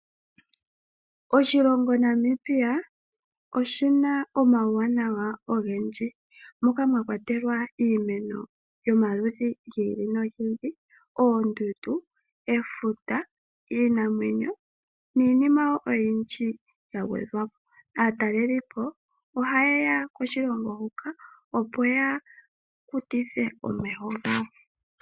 Oshilongo Namibia oshina omawuwanawa ogendji moka mwa kwatelwa iimeno yomaludhi gi ili nogi ili oondundu ,efuta iinamwenyo, niinima oyindji ya gwedhwapo. Aatalelipo ohayeya koshilongo huka opo ya ondodhe omeho gawo.